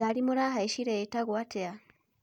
Ngari mũrahaicire yĩtagwo atia?